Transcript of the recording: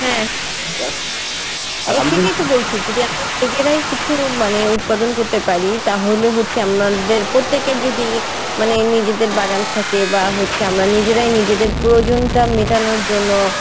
হ্যাঁ এই জন্যই তো বলছি যদি আমরা নিজেরাই কিছু মানে উৎপাদন করতে পারি তাহলে হচ্ছে আমাদের প্রত্যেকের যদি মানে নিজেদের বাগান থাকে বা হচ্ছে আমরা নিজেরাই নিজেদের প্রয়োজনটা মেটানোর জন্য